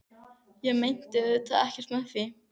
Ég meinti auðvitað ekkert með því.